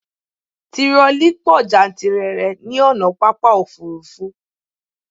Tirọlí pọ jántìrere ní ònà pápá òfurufú